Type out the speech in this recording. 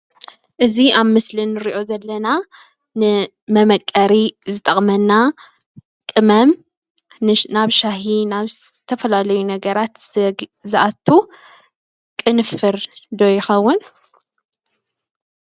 እዚ ኣብ ምስሊ ንርኦ ዘለና ንመመቀሪ ዝጠቅመና ቅመም ናብ ሻሂ ናብ ዝተፈላለዩ ነገራት ዝኣትው ቅንፍር ዶ ይከውን ?